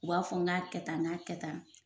U b'a fɔ n k'a kɛ tan n k'a kɛ tan